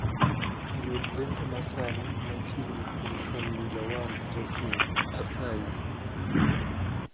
Yud lendo masani machiengni kuom formula one racing asayi